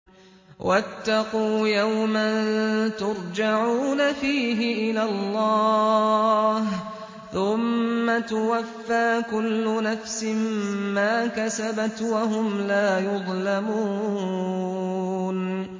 وَاتَّقُوا يَوْمًا تُرْجَعُونَ فِيهِ إِلَى اللَّهِ ۖ ثُمَّ تُوَفَّىٰ كُلُّ نَفْسٍ مَّا كَسَبَتْ وَهُمْ لَا يُظْلَمُونَ